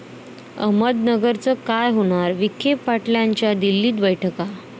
अहमदनगरचं काय होणार? विखे पाटलांच्या दिल्लीत बैठका